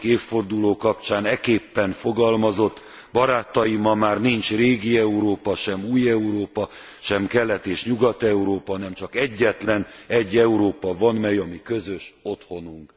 20. évforduló kapcsán ekképpen fogalmazott Barátaim, ma már nincs régi Európa, sem új Európa, sem Kelet és Nyugat Európa, hanem csak egyetlenegy Európa van, amely a mi közös otthonunk.